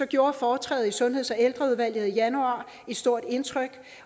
gjorde foretrædet i sundheds og ældreudvalget i januar et stort indtryk